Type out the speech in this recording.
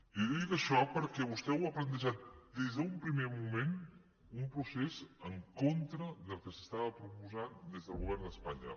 i li dic això perquè vostè ho ha plantejat des d’un primer moment un procés en contra del que s’estava proposant des del govern d’espanya